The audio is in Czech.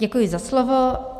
Děkuji za slovo.